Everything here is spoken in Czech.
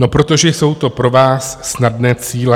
No protože jsou to pro vás snadné cíle.